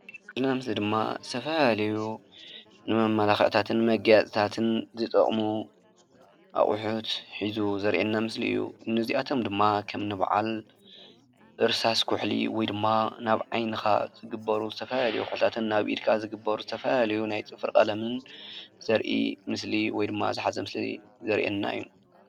ንሪኦ ዘለና ምስሊ ድማ ዝተፈላለየ ንመመላክዕታትን መጋየፅታትን ዝጠቕሙ ኣቑሑት ሒዙ ዘርእየና ምስሊ እዩ፡፡ እኒ እዚኣቶም ድማ ከም እኒ በዓል እርሳስ ኩሕሊ እዩ፡፡ ወይ ድማ ናብ ዓይንኻ ዝግበሩ ዝተፈላለዩ ኩሕልታትን ኣብ ኢድካ ዝግበሩ ዝተፈላለዩ ናይ ፅፍሪ ቀለምን ዘርኢ ምስሊ ወይ ድማ ዝሓዘ ምስሊ ዘርእየና እዩ፡፡